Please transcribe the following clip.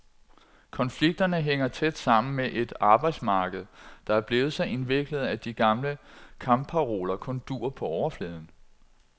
Konflikterne hænger tæt sammen med et arbejdsmarked, der er blevet så indviklet, at de gamle kampparoler kun duer på overfladen.